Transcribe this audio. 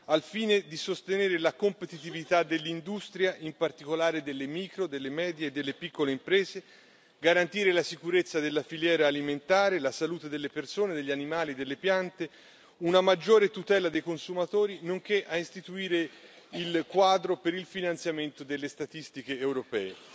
al fine di sostenere la competitività dell'industria, in particolare delle micro, delle medie e delle piccole imprese, garantire la sicurezza della filiera alimentare e la salute delle persone, degli animali e delle piante, una maggiore tutela dei consumatori, nonché a istituire il quadro per il finanziamento delle statistiche europee.